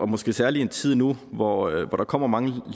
måske særlig i en tid nu hvor der kommer mange